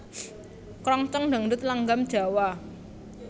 Krongcong Dangdut langgam Jawa